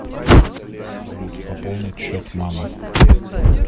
салют пополнить счет мама